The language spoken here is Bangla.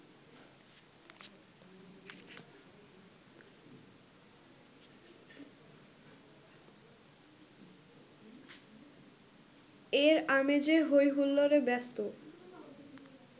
এর আমেজে হৈহুল্লোড়ে ব্যস্ত